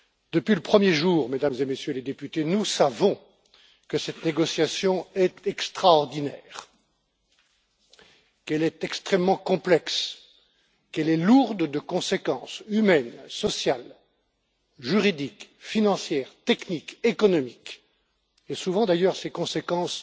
Depuis le premier jour, Mesdames et Messieurs les députés, nous savons que cette négociation est extraordinaire, qu'elle est extrêmement complexe, qu'elle est lourde de conséquences humaines, sociales, juridiques, financières, techniques, économiques, et souvent d'ailleurs, ces conséquences